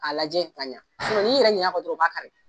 A lajɛ ka ɲa sinɔn ni y'i yɛrɛ ɲin'a kɔ dɔrɔn u b'a kari